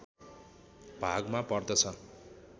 भागमा पर्दछ